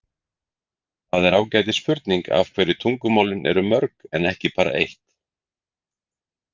Það er ágætis spurning af hverju tungumálin eru mörg en ekki bara eitt.